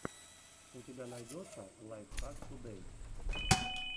у тебя найдется лайфхак тудэй